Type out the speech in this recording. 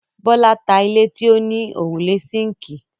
Bọ́lá ta ilé tí ó ní òrùlé síńkì.